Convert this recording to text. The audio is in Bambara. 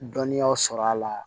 Dɔnniyaw sɔrɔ a la